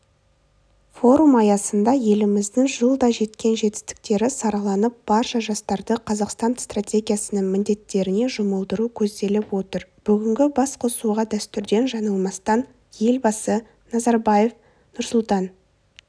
форум аясында еліміздің жылда жеткен жетістіктері сараланып барша жастарды қазақстан стратегиясының міндеттеріне жұмылдыру көзделіп отыр бүгінгі басқосуға дәстүрден жаңылмастан елбасы нұрсұлтан